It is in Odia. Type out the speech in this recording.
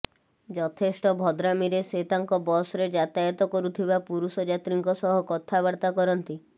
ଯଥେଷ୍ଟ ଭଦ୍ରାମିରେ ସେ ତାଙ୍କ ବସ୍ରେ ଯାତାୟତ କରୁଥିବା ପୁରୁଷ ଯାତ୍ରୀଙ୍କ ସହ କଥାବର୍ତ୍ତା କରନ୍ତି